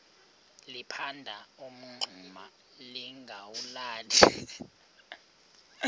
liphanda umngxuma lingawulali